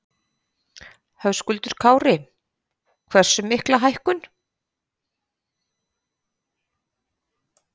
Höskuldur Kári: Hversu mikla hækkun?